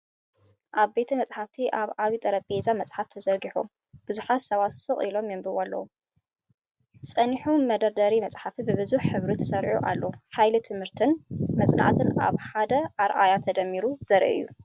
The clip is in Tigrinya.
ኣብ ቤተ-መጻሕፍቲ ኣብ ዓቢ ጠረጴዛ መጽሓፍ ተዘርጊሑ፡ ብዙሓት ሰባት ስቕ ኢሎም የንብቡ ኣለው። ጸኒሑ፡ መደርደሪ መጻሕፍቲ ብብዙሕ ሕብሪ ተሰሪዑ ኣሎ፡ ሓይሊ ትምህርትን መጽናዕትን ኣብ ሓደ ኣረኣእያ ተደሚሩ ዘርኢ እዩ።